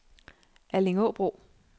Allingåbro